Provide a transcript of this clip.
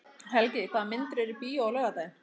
Helgi, hvaða myndir eru í bíó á laugardaginn?